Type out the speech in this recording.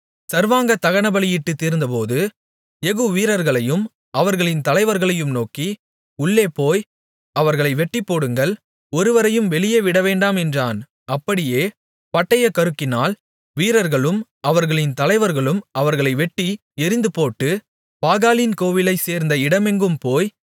சர்வாங்க தகனபலியிட்டுத் தீர்ந்தபோது யெகூ வீரர்களையும் அவர்களின் தலைவர்களையும் நோக்கி உள்ளேபோய் அவர்களை வெட்டிப்போடுங்கள் ஒருவரையும் வெளியே விடவேண்டாம் என்றான் அப்படியே பட்டயக்கருக்கினால் வீரர்களும் அவர்களின் தலைவர்களும் அவர்களை வெட்டி எறிந்துபோட்டு பாகாலின் கோவிலைச் சேர்ந்த இடமெங்கும் போய்